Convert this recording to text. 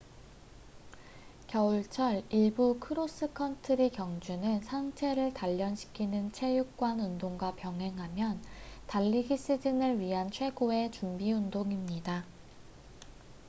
겨울철 일부 크로스컨트리 경주는 상체를 단련시키는 체육관 운동과 병행하면 달리기 시즌을 위한 최고의 준비 운동입니다